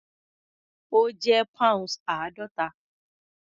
Ó jẹ́ pounds àádọ́ta.